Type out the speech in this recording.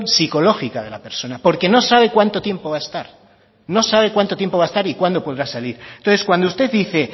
psicológica de la persona porque no sabe cuánto tiempo va a estar no sabe cuánto tiempo va a estar y cuándo podrá salir entonces cuando usted dice